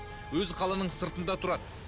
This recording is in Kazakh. өзі қаланың сыртында тұрады